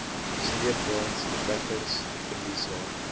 sleepwaens trekkers verliese